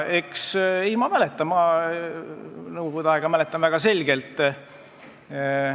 Mina mäletan nõukogude aega väga selgelt.